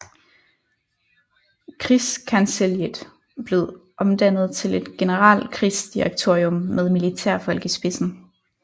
Krigskancelliet blev omdannet til et generalkrigsdirektorium med militærfolk i spidsen